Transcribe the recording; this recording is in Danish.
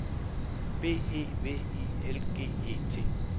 B E V I L G E T